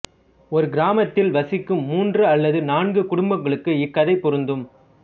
ஒரு கிராமத்தில் வசிக்கும் மூன்று அல்லது நான்கு குடும்பங்களுக்கு இக்கதை பொருந்தும்